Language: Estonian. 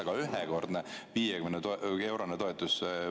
Aga ühekordne 50-eurone toetus?